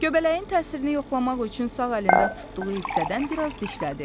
Göbələyin təsirini yoxlamaq üçün sağ əlində tutduğu hissədən bir az dişlədi.